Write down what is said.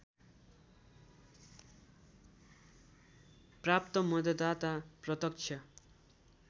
प्राप्त मतदाता प्रत्यक्ष